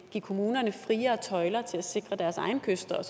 give kommunerne friere tøjler til at sikre deres egen kyst og